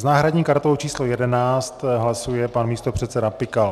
S náhradní kartou číslo 11 hlasuje pan místopředseda Pikal.